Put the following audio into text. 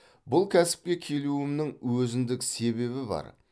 бұл кәсіпке келуімнің өзіндік себебі бар